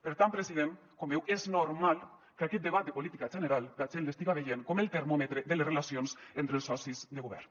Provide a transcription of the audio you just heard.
per tant president com veu és normal que aquest debat de política general la gent l’estiga veient com el termòmetre de les relacions entre els socis de govern